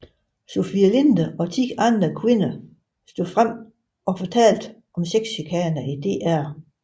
Sofie Linde og ti andre kvinder stod frem og fortalte om sexchikane i DR